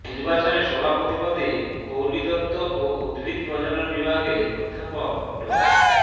নির্বাচনে সভাপতি পদে কৌলিতত্ত্ব ও উদ্ভিদ প্রজনন বিভাগের অধ্যাপক ড